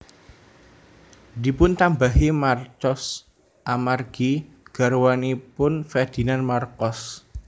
Dipuntambahi Marcos amargi garwanipun Ferdinand Marcos